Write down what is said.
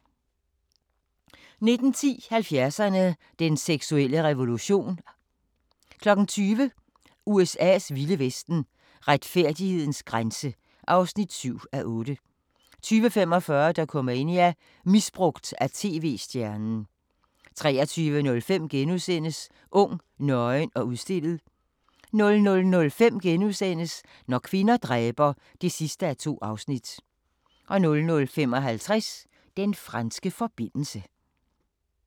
19:10: 70'erne: Den seksuelle revolution 20:00: USA's vilde vesten: Retfærdighedens grænse (7:8) 20:45: Dokumania: Misbrugt af tv-stjernen 23:05: Ung, nøgen og udstillet * 00:05: Når kvinder dræber (2:2)* 00:55: Den franske forbindelse